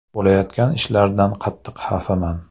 Bo‘layotgan ishlardan qattiq xafaman.